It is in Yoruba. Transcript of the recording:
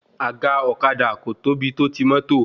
Àga ọ̀kadà kò tóbi tó ti mọ́tò